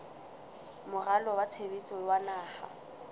moralo wa tshebetso wa naha